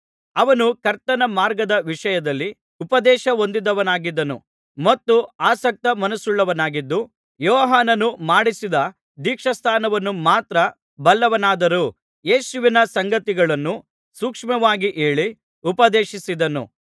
ಅವನು ಕರ್ತನ ಮಾರ್ಗದ ವಿಷಯದಲ್ಲಿ ಉಪದೇಶ ಹೊಂದಿದವನಾಗಿದ್ದನು ಮತ್ತು ಆಸಕ್ತ ಮನಸ್ಸುಳ್ಳವನಾಗಿದ್ದು ಯೋಹಾನನು ಮಾಡಿಸಿದ ದೀಕ್ಷಾಸ್ನಾನವನ್ನು ಮಾತ್ರ ಬಲ್ಲವನಾದರೂ ಯೇಸುವಿನ ಸಂಗತಿಗಳನ್ನು ಸೂಕ್ಷ್ಮವಾಗಿ ಹೇಳಿ ಉಪದೇಶಿಸಿದನು